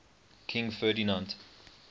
king ferdinand